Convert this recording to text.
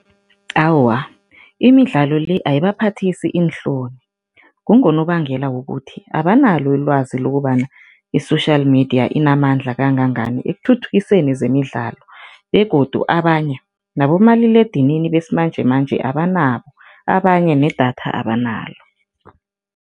Awa, imidlalo le ayibaphathisi iinhloni. Kungonobangela wokuthi, abanalo ilwazi lokobana i-social media inamandla kangangani ekuthuthukiseni zemidlalo begodu abanye nabomaliledinini besimanjemanje abanabo, abanye nedatha abanalo.